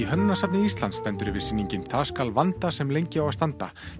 hönnunarsafni Íslands stendur yfir sýningin það skal vanda sem lengi á að standa